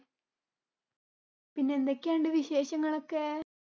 പിന്നെ എന്തൊക്കെയുണ്ട് വിശേഷങ്ങളൊക്കെ?